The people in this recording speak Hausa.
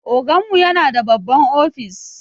Oganmu yana da babban ofis.